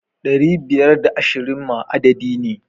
Ɗari biyar da ashirin ma adadi ne.